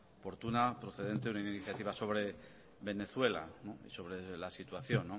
oportuna procedente una iniciativa sobre venezuela sobre la situación